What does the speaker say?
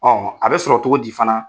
Ɔn, a bɛ sɔrɔ cogo di fana?